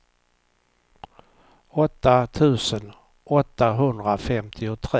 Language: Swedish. åtta tusen åttahundrafemtiotre